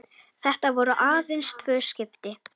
Þetta voru aðeins tvö skipti.